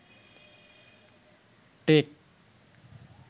take